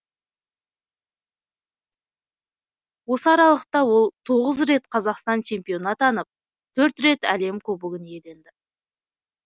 осы аралықта ол тоғыз рет қазақстан чемпионы атынып төрт рет әлем кубогын иеленді